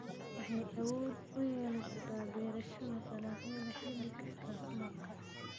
Waxay awood u yeelashada beerashada dalagyada xilli kasta sanadka.